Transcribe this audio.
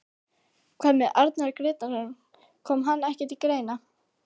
Hvað með Arnar Grétarsson, kom hann ekki til greina?